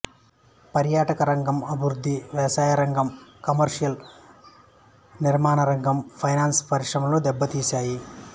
పర్యాటకరంగం అభివృద్ధి వ్యవసాయరంగం కమర్షియల్ నిర్మాణరంగం ఫైనాంస్ పరిశ్రమలను దెబ్బతీసాయి